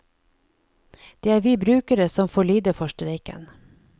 Det er vi brukere som får lide for streiken.